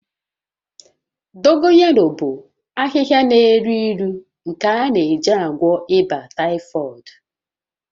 Dogoyaro bụ ahịhịa n'elu ilu nke a na-eji agwọ ịba taịfọdụ